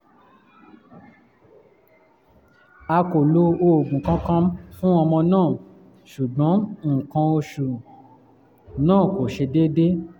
a kò lo oògùn kankan fún ọmọ náà ṣùgbọ́n nǹkan oṣù náà kò ṣe déédé